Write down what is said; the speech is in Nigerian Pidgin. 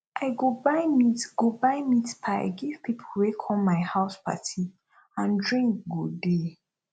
i go buy meat go buy meat pie give people wey come my house party and drink go dey